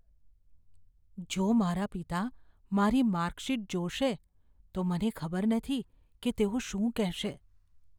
જો મારા પિતા મારી માર્કશીટ જોશે, તો મને ખબર નથી કે તેઓ શું કહેશે.